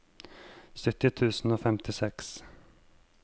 sytti tusen og femtiseks